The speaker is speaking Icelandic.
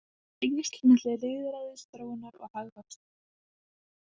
Eru tengsl milli lýðræðisþróunar og hagvaxtar?